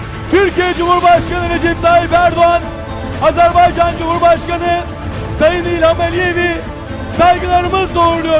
Türkiye Cumhurbaşkanı Recep Tayyip Erdoğan, Azerbaycan Cumhurbaşkanı Sayın İlham Aliyev'i saygılarımızla uğurluyoruz.